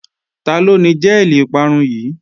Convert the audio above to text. Taló ni jẹ́ẹ̀lì ìparun yìí?